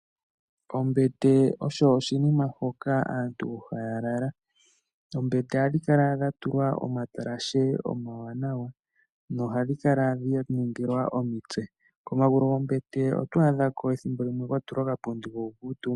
Ombete oyo oshinima hoka aantu haya lala. Oombete ohadhi kala dha tulwa omatalashe omawanawa nohadhi kala dha ningilwa omitse. Komagulu gombete ethimbo limwe oto adhako kwa ningilwa okapundi ko ku kuutumba.